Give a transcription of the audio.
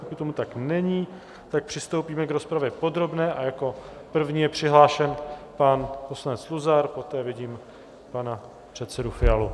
Pokud tomu tak není, tak přistoupíme k rozpravě podrobné a jako první je přihlášen pan poslanec Luzar, poté vidím pana předsedu Fialu.